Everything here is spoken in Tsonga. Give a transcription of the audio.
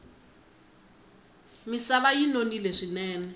misava yi nonile swinene